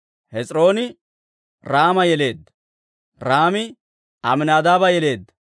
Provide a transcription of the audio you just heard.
Hes'irooni Raama yeleedda; Raami Amminadaaba yeleedda;